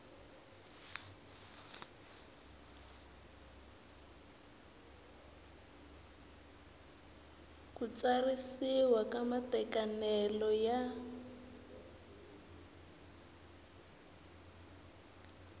ku tsarisiwa ka matekanelo ya